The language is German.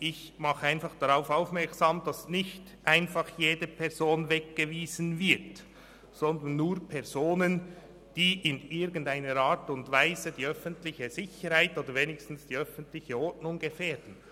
Ich mache darauf aufmerksam, dass nicht einfach jede Person weggewiesen wird, sondern nur Personen, die in irgendeiner Art und Weise die öffentliche Sicherheit oder wenigstens die öffentliche Ordnung gefährden.